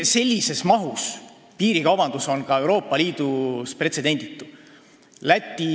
Sellises mahus piirikaubandus on Euroopa Liidus pretsedenditu.